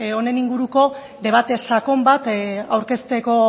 honen inguruko debate sakon bat aurkezteko